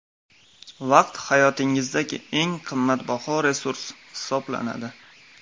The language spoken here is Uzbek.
Vaqt hayotingizdagi eng qimmatbaho resurs hisoblanadi.